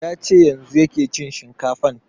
Ya ce yanzun yake cin shinkafan